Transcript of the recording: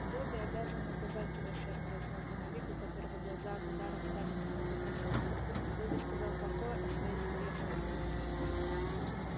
добби обязан наказать себя сэр произнёс домовик у которого глаза от ударов стали немного косить добби сказал плохое о своей семье сэр